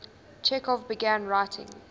chekhov began writing